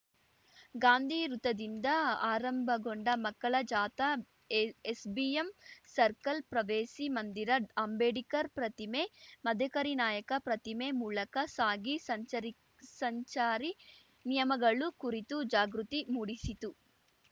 ಗಾಂಧಿ ವೃತ್ತದಿಂದ ಆರಂಭಗೊಂಡ ಮಕ್ಕಳ ಜಾಥಾ ಎಎಸ್‌ಬಿಎಂ ಸರ್ಕಲ್‌ ಪ್ರವೇಸಿ ಮಂದಿರ ಅಂಬೇಡ್ಕರ್‌ ಪ್ರತಿಮೆ ಮದಕರಿನಾಯಕ ಪ್ರತಿಮೆ ಮೂಲಕ ಸಾಗಿ ಸಂಚರಿ ಸಂಚಾರಿ ನಿಯಮಗಳು ಕುರಿತು ಜಾಗೃತಿ ಮೂಡಿಸಿತು